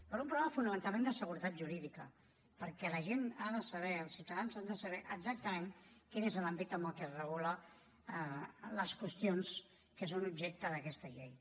per un problema fonamentalment de seguretat jurídica perquè la gent ha de saber els ciutadans han de saber exactament quin és l’àmbit en el que es regulen les qüestions que són objecte d’aquesta llei